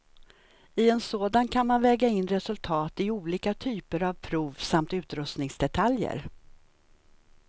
I en sådan kan man väga in resultat i olika typer av prov, samt utrustningsdetaljer.